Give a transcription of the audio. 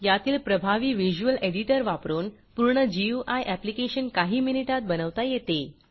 यातील प्रभावी visual editor वापरून पूर्ण गुई ऍप्लीकेशन काही मिनिटात बनवता येते